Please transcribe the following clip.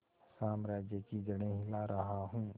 साम्राज्य की जड़ें हिला रहा हूं